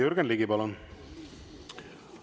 Jürgen Ligi, palun!